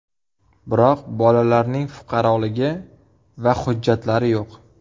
Biroq bolalarning fuqaroligi va hujjatlari yo‘q.